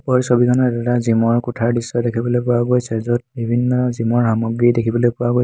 ওপৰৰ ছবিখনত এটা জিম ৰ কোঠাৰ দৃশ্য দেখিবলৈ পোৱা গৈছে য'ত বিভিন্ন জিম ৰ সামগ্ৰী দেখিবলৈ পোৱা গৈ--